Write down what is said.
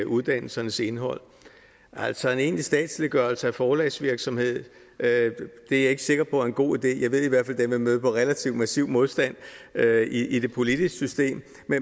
uddannelsernes indhold altså en egentlig statsliggørelse af forlagsvirksomhed er jeg ikke sikker på er en god idé jeg ved i hvert fald at den vil møde relativt massiv modstand i det politiske system